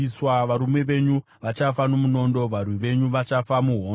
Varume venyu vachafa nomunondo, varwi venyu vachafa muhondo.